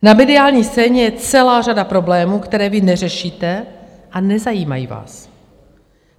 Na mediální scéně je celá řada problémů, které vy neřešíte a nezajímají vás.